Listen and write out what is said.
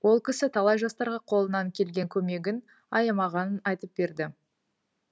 ол кісі талай жастарға қолынан келген көмегін аямағанын айтып берді